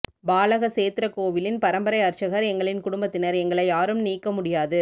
பாலக சேத்திர கோவிலின் பரம்பரை அர்ச்சகர் எங்களின் குடும்பத்தினர் எங்களை யாரும் நீக்க முடியாது